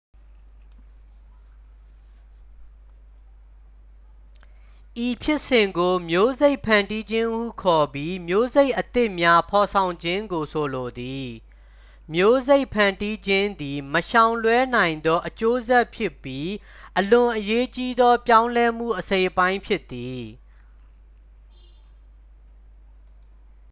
ဤဖြစ်စဉ်ကို မျိုးစိတ်ဖန်တီးခြင်းဟုခေါ်ပြီး မျိုးစိတ်အသစ်များ ဖော်ဆောင်ခြင်းကို ဆိုလိုသည် မျိုးစိတ်ဖန်တီးခြင်းသည် မရှောင်လွှဲနိုင်သော အကျိုးဆက်ဖြစ်ပြီး အလွန်အရေးကြီးသော ပြောင်းလဲမှု အစိတ်အပိုင်းဖြစ်သည်